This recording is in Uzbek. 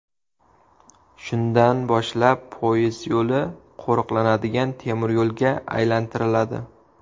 Shundan boshlab poyezd yo‘li qo‘riqlanadigan temiryo‘lga aylantiriladi.